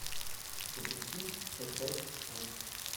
запусти часть пять посох